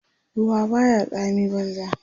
ruwa Baya tsami banza